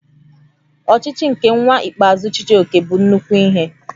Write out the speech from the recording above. Ochichi nke nwa ikpeazụ Chijioke bụ nnukwu ihe